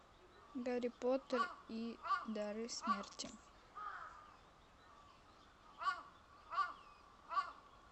гарри поттер и дары смерти